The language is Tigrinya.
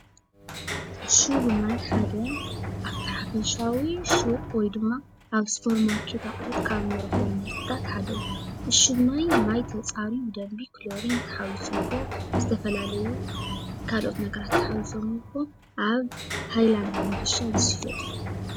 ዕሹግ ማይ ሓደ ኣብቲ ሓፈሻዊ ሹቕ ወይ ድማ ኣብ ሱፐርማርኬት ኣቕሑት ካብ ንረኽቦም ምህርትታት ሓደ እዩ፡፡ ዕሽግ ማይ ማይ ተፃርዩ ብደንቢ ክሎሪን ተሓዊስዎ ዝተፈላለዩ ካልኦት ነገራት ተሓዊሰምዎ ኣብ ሃይላንድ ብምዕሻግ ዝሽየጥ እዩ፡፡